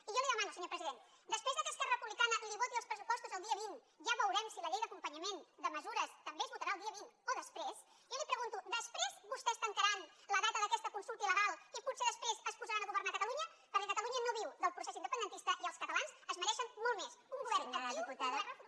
i jo li demano senyor president després que esquerra republicana li voti els pressupostos el dia vint ja veurem si la llei d’acompanyament de mesures també es votarà el dia vint o després jo li pregunto després vostès tancaran la data d’aquesta consulta illegal i potser després es posaran a governa catalunya perquè catalunya no viu del procés independentista i els catalans es mereixen molt més un govern actiu